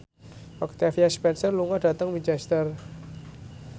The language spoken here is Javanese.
Octavia Spencer lunga dhateng Winchester